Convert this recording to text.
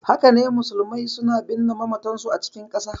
Haka ne, musulmai suna binne mamatansu a cikin ƙasa.